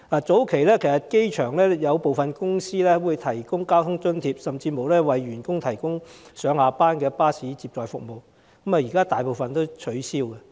早期，有部分在機場營運的公司會為員工提供交通津貼，甚至上下班巴士接載服務，但大部分現已取消。